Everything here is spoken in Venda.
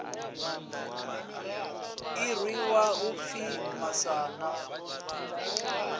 ḓi irwa u pfi masana